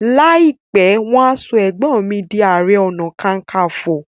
láìpé wan so egbon mí dì aré ọnà kankanfo.